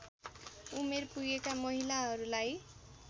उमेर पुगेका महिलाहरूलाई